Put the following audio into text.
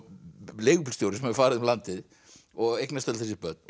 leigubílstjóri sem hefur farið um landið og eignast öll þessi börn